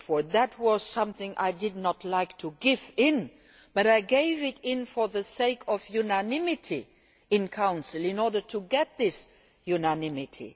Council. That was something I did not like to give in to, but I gave in for the sake of unanimity in Council, in order to get this